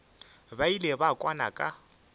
ba ile ba kwana ka